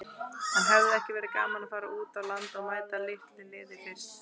En hefði ekki verið gaman að fara út á land og mæta litlu liði fyrst?